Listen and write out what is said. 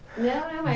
Não, não, é